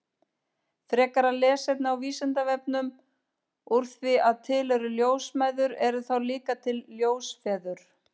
Frekara lesefni á Vísindavefnum Úr því að til eru ljósmæður, eru þá líka til ljósfeður?